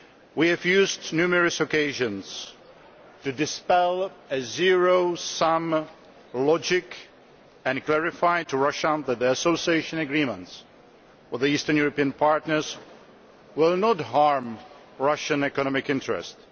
We have used numerous opportunities to dispel a zero sum logic and clarify to Russia that the Association Agreements for the eastern European partners will not harm Russian economic interests.